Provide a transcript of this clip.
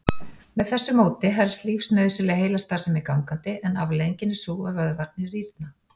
Með þessu móti helst lífsnauðsynleg heilastarfsemi gangandi en afleiðingin er sú að vöðvarnir rýrna.